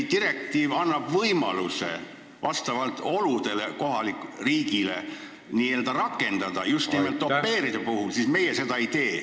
Direktiiv annab kohalikule riigile võimaluse oludele vastavalt rakendada sätteid just nimelt au pair'ide puhul, aga meie seda ei tee.